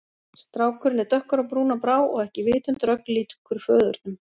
Strákurinn er dökkur á brún og brá og ekki vitundarögn líkur föðurnum.